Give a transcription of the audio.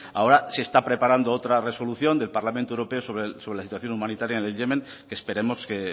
ahora se está preparando otra resolución del parlamento europeo sobre la situación humanitaria en el yemen que esperemos que